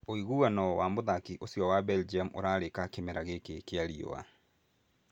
Ũiguano wa mũthaki ũcio wa Belgium ũrarĩka kĩmera gĩkĩ kĩa riũa